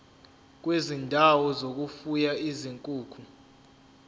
kwezindawo zokufuya izinkukhu